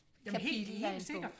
kapitel af en bog